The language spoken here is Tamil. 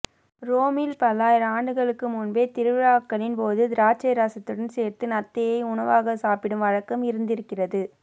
ரோமில் பல்லாயிரம் ஆண்டுகளுக்கு முன்பே திருவிழாக்களின் போது திராட்சை ரசத்துடன் சேர்த்து நத்தையை உணவாகச் சாப்பிடும் வழக்கம் இருந்திருக்கிறது